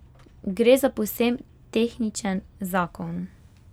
Gre za povsem tehničen zakon.